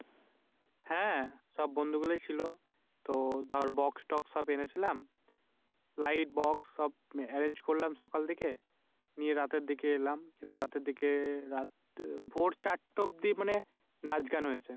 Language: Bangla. হ্যাঁ সব বন্ধুগুলোই ছিল। তো দর Box ট্রক্স সব এনেছিলাম। Light box সব Arrange করলাম সকাল থেকে। নিয়ে রাতের দিকে এলাম। রাতের দিকে ভোর চারটা অবদ্দি মানি নাচ গান হয়েছে।